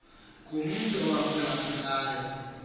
ngumntu owamphula phulayo